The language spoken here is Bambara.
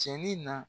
Cɛni na